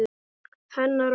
Hennar orð.